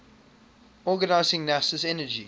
organizing nasa's energy